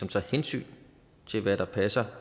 tager hensyn til hvad der passer